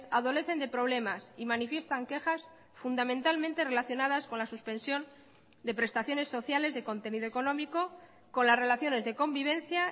adolecen de problemas y manifiestan quejas fundamentalmente relacionadas con la suspensión de prestaciones sociales de contenido económico con las relaciones de convivencia